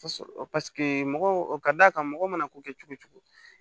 mɔgɔw o ka d'a kan mɔgɔ mana ko kɛ cogo o cogo